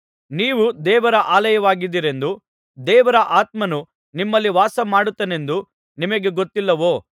ನೀವು ದೇವರ ಆಲಯವಾಗಿದ್ದೀರೆಂದೂ ದೇವರ ಆತ್ಮನು ನಿಮ್ಮಲ್ಲಿ ವಾಸಮಾಡುತ್ತಾನೆಂದೂ ನಿಮಗೆ ಗೊತ್ತಿಲ್ಲವೋ